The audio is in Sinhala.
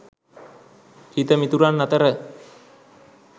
හිත මිතුරන් අතර